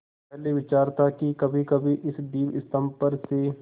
पहले विचार था कि कभीकभी इस दीपस्तंभ पर से